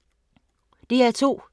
DR2